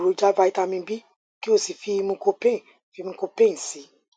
o lè lo èròjà vitamin b kí o sì fi mucopain fi mucopain sí i